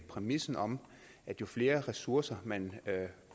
præmissen om at jo flere ressourcer man